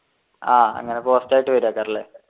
ആഹ് അങ്ങനെ പോസ്റ്റായിട്ട്